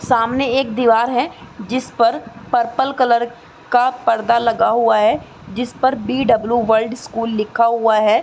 सामने एक दीवार है जिसपर पर्पल कलर का पर्दा लगा हुआ है जिस पर बी.डब्लू. वर्ल्ड स्कूल लिखा हुआ है।